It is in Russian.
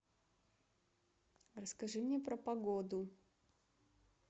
расскажи мне про погоду